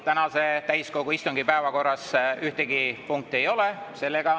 Tänase täiskogu istungi päevakorras ühtegi punkti ei ole.